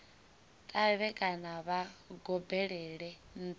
ṱavhe kana vha gobelele nṱha